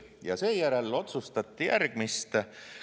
Ja seejärel otsustati järgmist.